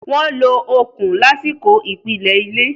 Wọ́n lo okùn lásìkò ìpìlẹ̀ ilé.